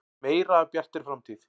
Meira af Bjartri framtíð.